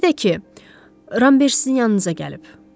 Bir də ki, Ramber sizin yanınıza gəlib.